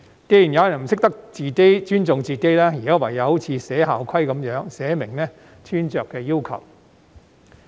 既然有人不懂得尊重自己，現時唯有好像訂立校規般，寫明穿着的要求。